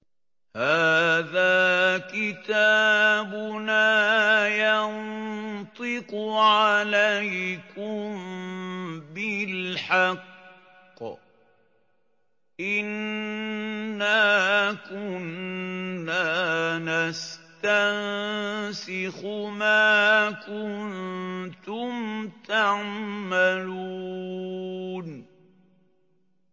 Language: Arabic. هَٰذَا كِتَابُنَا يَنطِقُ عَلَيْكُم بِالْحَقِّ ۚ إِنَّا كُنَّا نَسْتَنسِخُ مَا كُنتُمْ تَعْمَلُونَ